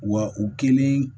Wa u kelen